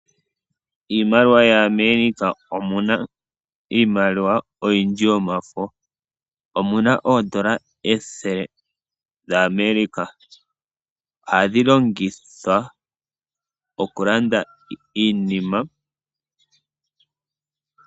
Iimaliwa oyindji yaAmerika omu na iimaliwa oyindji yomafo. Omu na oodola ethele dhaAmerika. Ohadhi longithwa okulanda iinima.